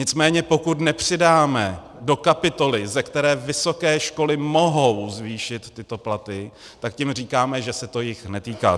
Nicméně pokud nepřidáme do kapitoly, ze které vysoké školy mohou zvýšit tyto platy, tak tím říkáme, že se to jich netýká.